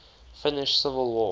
finnish civil war